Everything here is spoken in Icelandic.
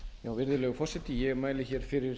virðulegur forseti ég mæli hér fyrir